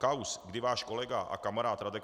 Kauz, kdy váš kolega a kamarád Radek